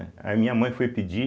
Aí minha mãe foi pedir